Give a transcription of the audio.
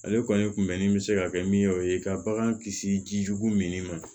Ale kɔni kun bɛnni bɛ se ka kɛ min ye o ye ka bagan kisi jijugu min ma